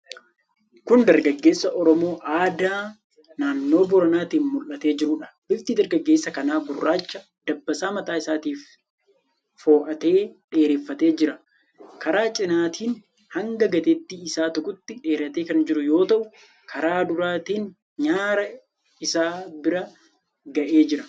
Kun dargaggeessa Oromoo aadaa naannoo Booranaatiin mul'atee jiruudha. Bifti dargaggeessa kanaa gurraacha. Dabbasaa mataa isaatii fo'atee dheereffatee jira, Karaa cinaatiin hanga gateettii isaa tuqutti dheeratee kan jiru yoo ta'u, karaa duraatiin nyaara isaa bira ga'ee jira.